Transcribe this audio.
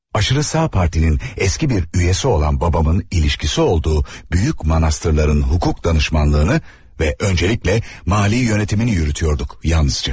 Aşırı sağ partinin eski bir üzvü olan babamın əlaqəsi olduğu böyük monastırların hüquq məsləhətçiliyini və öncəliklə maliyyə yönetimini yürüdürdük yalnızca.